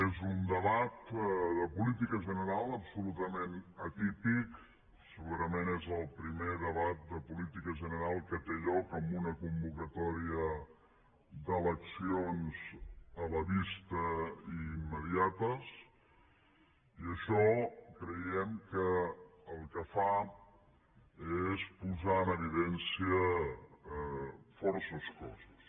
és un debat de política general absolutament atípic segurament és el primer debat de política general que té lloc amb una convocatòria d’eleccions a la vista i immediates i això creiem que el que fa és posar en evidència força coses